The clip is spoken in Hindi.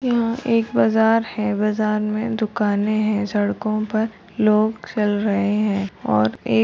यहा एक बजार है बजार मे दुकाने है सड्को पर लोग चल रहे है और एक --